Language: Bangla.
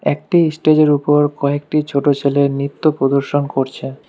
একটি স্টেজ -এর ওপর কয়েকটি ছোট ছেলে নৃত্য প্রদর্শন করছে।